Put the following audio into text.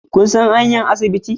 Kun san hanyar asibiti